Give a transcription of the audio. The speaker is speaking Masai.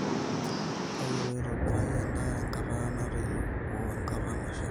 toyiolo aitobirai endaa tekata natoyio woo enkata nashita